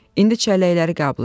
İndi çəlləkləri qəbul eləyin.